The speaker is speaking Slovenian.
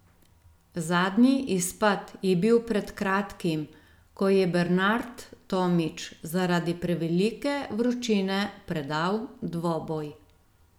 Zadnji izpad je bil pred kratkim, ko je Bernard Tomić zaradi prevelike vročine predal dvoboj.